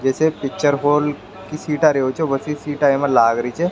जैसे picture hall की सीटा रेहो छे वैसी सीटा इमे लाग री छे।